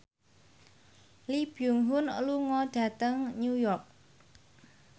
Lee Byung Hun lunga dhateng New York